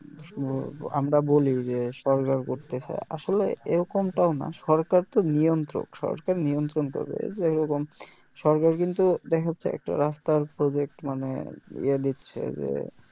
আমরা বলি যে সরকার করতেসে আসলে এরকম টাও না সরকার তো নিয়ন্ত্রক সরকার নিয়ন্ত্রন করবে যে এরকম সরকার কিন্তু যাই হচ্ছে একটা রাস্তার project মানে ইয়ে দিচ্ছে যে